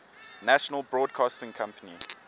national broadcasting company